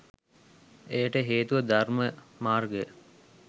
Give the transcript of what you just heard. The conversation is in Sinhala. එයට හේතුව ධර්ම මාර්ගය